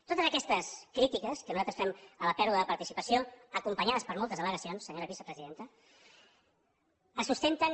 totes aquestes crítiques que nosaltres fem a la pèrdua de participació acompanyades per moltes al·legacions senyora vicepresidenta es sustenten